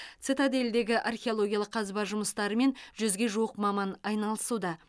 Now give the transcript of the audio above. цитадельдегі археологиялық қазба жұмыстарымен жүзге жуық маман айналысуда